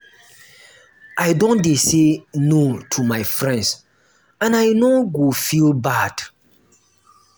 i don dey say no to my friends and i no go feel bad.